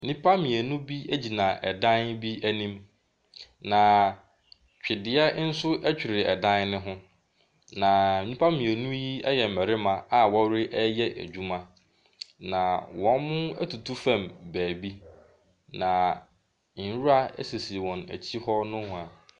Nnipa mmienu bi gyina ɛdan bi anim. Na twedeɛ ɛnso ɛtwere ɛdan ne ho. Na nnnipa mmienu yi yɛ mmarima a wɔreyɛ adwuma. Na wɔn atu fam baabi. Na nwura sisi wɔn akyi hɔ nohwaa.